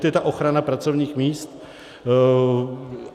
To je ta ochrana pracovních míst.